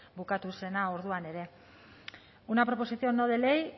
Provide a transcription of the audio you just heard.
bukatu zena orduan ere una proposición no de ley